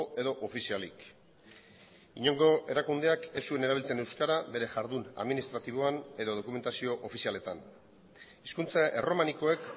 edo ofizialik inongo erakundeak ez zuen erabiltzen euskara bere jardun administratiboan edo dokumentazio ofizialetan hizkuntza erromanikoek